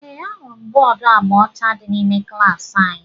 Ee, ahụrụ m bọọdu agba ọcha dị n'ime klaasị anyị